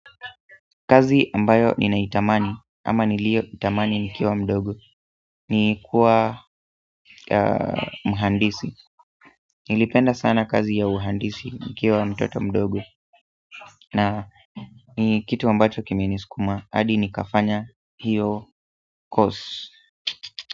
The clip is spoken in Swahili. Kazi ambayo ninaitamani ama niliyoitamani nikiwa mdogo ni kuwa mhandisi nilipenda sana kazi ya uhandisi nikiwa mtoto mdogo na ni kitu ambacho kimeni sukuma adi nikafanya hiyo course.